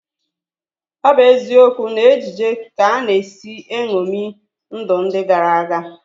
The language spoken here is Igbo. Ọ bụ eziokwu na ejije ka a na-esi eṅomi ndụ ndị gara aga